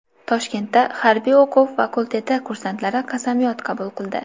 Toshkentda harbiy o‘quv fakulteti kursantlari qasamyod qabul qildi .